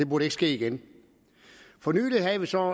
burde ske igen for nylig havde vi så